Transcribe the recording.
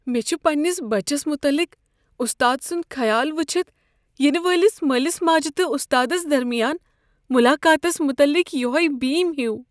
مےٚ چھ پننس بچس متعلق استاد سنٛد خیال وچھتھ ینہٕ وٲلس مٲلس ماجہ تہٕ استادس درمیان ملاقاتس متعلق یۄہے بیم ہیُو۔